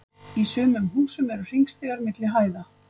í sumum húsum eru hringstigar milli hæða